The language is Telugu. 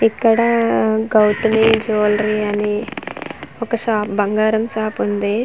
ఇక్కడ గౌతమి జివేలరీ అని ఒక షాప్ బంగారం షాప్ ఉంది.